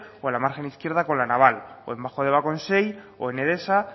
o en la margen izquierda con la naval o en bajo deba con o en edesa